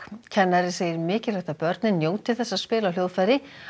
kennari segir mikilvægt að börnin njóti þess að spila á hljóðfæri